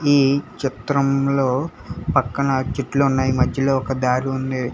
ఈ చిత్రంలో పక్కన చెట్లు ఉన్నాయి మద్యలో ఒక దారి ఉంది.